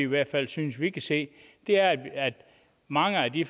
hvert fald synes vi kan se er at mange af de